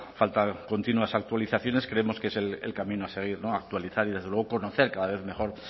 falta continuas actualizaciones creemos que es el camino a seguir actualizar y desde luego conocer cada vez mejor